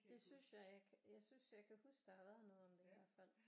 Det synes jeg at jeg kan jeg synes jeg kan huske at der har været noget om det i hvert fald